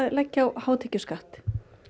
leggja á hátekjuskatt